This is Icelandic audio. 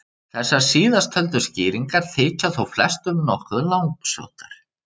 Þessar síðasttöldu skýringar þykja þó flestum nokkuð langsóttar.